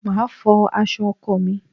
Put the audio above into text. Màá fọ aṣọ ọkọ mi.